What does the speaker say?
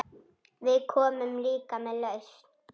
Við komum líka með lausn.